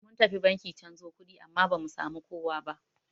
Mun tafi banki canzo kuɗi amma bamu samu kowa ba.